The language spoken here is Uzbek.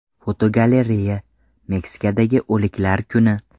Fotogalereya: Meksikadagi o‘liklar kuni.